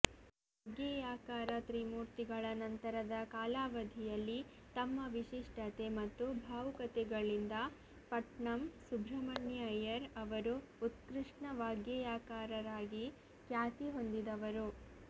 ವಾಗ್ಗೇಯಕಾರ ತ್ರಿಮೂರ್ತಿಗಳ ನಂತರದ ಕಾಲಾವಧಿಯಲ್ಲಿ ತಮ್ಮ ವಿಶಿಷ್ಟತೆ ಮತ್ತು ಭಾವುಕತೆಗಳಿಂದ ಪಟ್ಣಂ ಸುಬ್ರಹ್ಮಣ್ಯಯ್ಯರ್ ಅವರು ಉತ್ಕೃಷ್ಟ ವಾಗ್ಗೇಯಕಾರರಾಗಿ ಖ್ಯಾತಿ ಹೊಂದಿದವರು